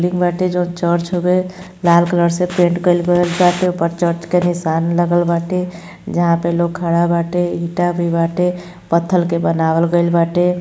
Building बाटे जौन church हवे लाल कलर से पैंट कइल गईल बाटे ऊपर चर्च के निशान लागल बाटे जहां पे लोग खड़ा बाटे ईटा भी बाटे। पत्थल के बनावल गईल बाटे।